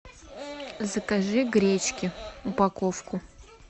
закажи гречки упаковку